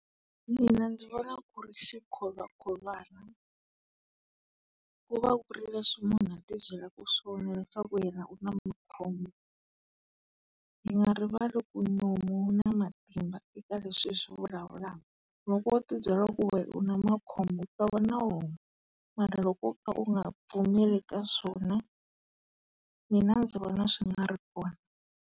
Mina ndzi vona ku ri xikholwakholwana. Ku va ku ri leswi munhu a tibyelaka swona leswaku yena u na makhombo. Hi nga rivali ku nomu wu na matimba eka leswi hi swi vulavulaka. Loko u tibyela ku we u na makhombo u ta va na wona. Mara loko wo ka u nga pfumeli ka swona, mina ndzi vona swi nga ri kona.